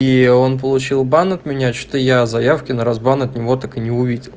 и он получил бан от меня что-то я заявки на разбан от него так и не увидел